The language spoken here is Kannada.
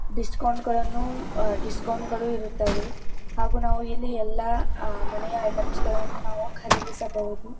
ಡಿಸ್ಕೌಂಟ್ ಗಳನ್ನೂ ಆಹ್ಹ್ ಡಿಸ್ಕೌಂಟ್ ಗಳು ಇರುತ್ತವೆ ಹಾಗು ನಾವು ಇಲ್ಲಿ ಎಲ್ಲ ಮನೆಯ ಐಟೆಮ್ಸಗಳನ್ನೂ ನಾವು ಖರೀದಿಸಬಹುದು.